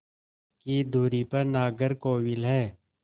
की दूरी पर नागरकोविल है